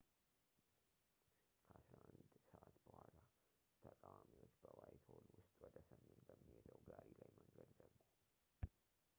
ከ11፡00 በኋላ፣ ተቃዋሚዎች በዋይትሆል ውስጥ ወደ ሰሜን በሚሄደው ጋሪ ላይ መንገድ ዘጉ